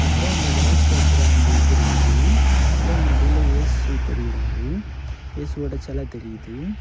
அப்புறம் அந்த விளக்கு ஏத்துற அந்த இது இருக்குது அப்புறம் நடுவுல இயேசு தெரியிறாரு இயேசுவோட செல தெரியுது.